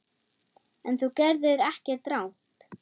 En þú gerðir ekkert rangt.